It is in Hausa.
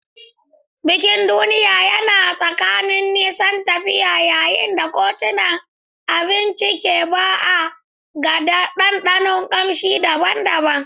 Bikin duniya yana tsakanin nisan tafiya yayin da kotunan abinci ke ba'a ga ɗanɗanon kamshi daban-daban.